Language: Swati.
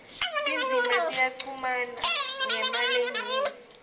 tindzima tiyachumana ngemalengiso